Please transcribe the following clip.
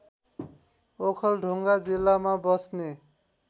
ओखलढुङ्गा जिल्लामा बस्ने